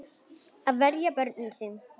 Að verja börnin sín.